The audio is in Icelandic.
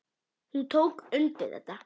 Hún tók undir þetta.